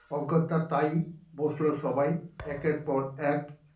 অগ্যতা তায় বসলো সবাই একের পর এক